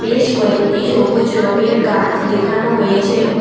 বেশ কয়েকটি সবুজ রঙের গাছ দেখানো হয়েছে।